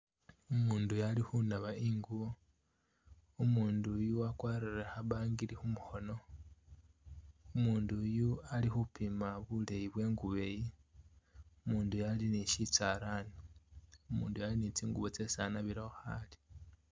Umundu iyo ali khunaba ingubo , umundu iyu akwarire khabangiri kumukhono omundu iyu ali’khupima buleyi bwegubo iyi umundu iyu ali ni shishalani, umundu iyu ali ni tsingubo tsesi anabilekho khale.